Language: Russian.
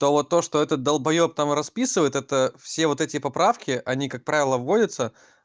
то вот то что этот долбаёб там расписывает это все вот эти поправки они как правило вводятся